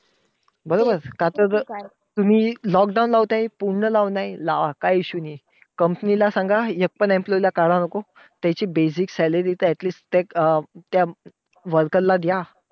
बरोबर! आता तर तुम्ही lockdown लावताय. पूर्ण लावलाय लावा काही issue नाही. Company ला सांगा, एक पण employee काढा नको. त्याची basic salary तर atleast त अं त्या worker ला दया.